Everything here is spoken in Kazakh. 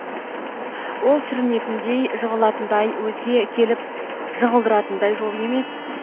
ол сүрінетіндей жығылатындай өзге келіп жығылдыратындай жол емес